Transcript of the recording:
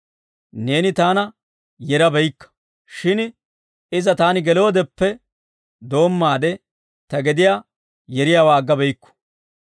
Neeni Taana yera beykka; shin iza taani geloodeppe doommaade ta gediyaa yeriyaawaa agga beykku.